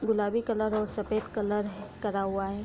गुलाबी कलर और सफ़ेद कलर करा हुवा है।